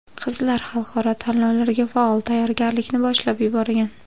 Qizlar xalqaro tanlovlarga faol tayyorgarlikni boshlab yuborgan.